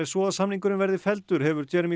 svo að samningurinn verði felldur hefur